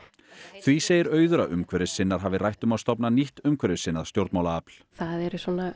því segir Auður að umhverfissinnar hafi rætt um að stofna nýtt umhverfissinnað stjórnmálaafl það eru